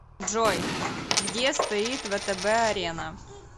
джой где стоит втб арена